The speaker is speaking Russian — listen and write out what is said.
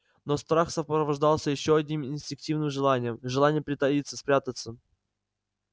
но страх сопровождался ещё одним инстинктивным желанием желанием притаиться спрятаться